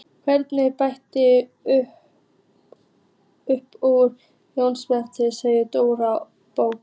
Hann breytist upp úr Jónsmessunni segir Dóri bóki.